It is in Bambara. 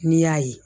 N'i y'a ye